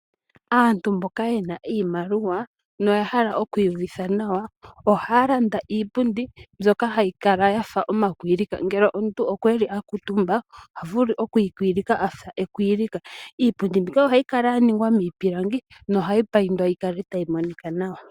Aantu mboka yena iimaliwa, noyahala okwiiyuvitha nawaa, ohaalanda iipundi mbyoka hayikala yafa omakwilika ngele omuntu okweeli akuutumba ohavulu okwiikwilika afa ekwilika. Iipundi mbika ohayikala yaningwa miipilangi nohayipayindwa yikale tayimonika nawa.